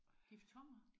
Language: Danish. Diftonger?